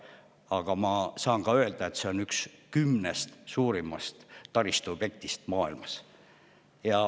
Aga ma saan ka öelda, et see on üks kümnest suurimast taristuobjektist maailmas.